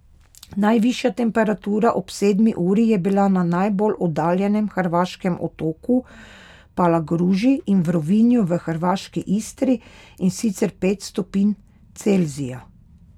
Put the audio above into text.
Najvišja temperatura ob sedmi uri je bila na najbolj oddaljenem hrvaškem otoku Palagruži in v Rovinju v hrvaški Istri, in sicer pet stopinj Celzija.